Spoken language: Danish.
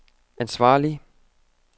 ansvarlig